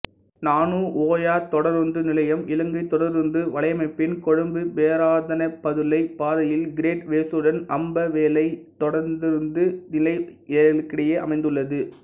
நானு ஓயா தொடருந்து நிலையம் இலங்கை தொடருந்து வலையமைப்பின் கொழும்புபேராதனைபதுளை பாதையில் கிரேட் வெசுடன் அம்பேவளை தொடருந்து நிலையங்களுக்கிடையே அமைந்துள்ளது